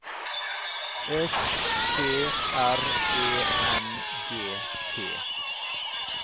S T R E N G T